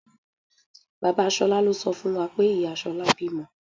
Bàbá Ṣolá ló sọ fún wa pé ìyá Ṣolá bímọ.